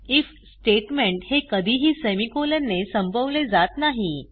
if statement हे कधीही semicolon ने संपवले जात नाही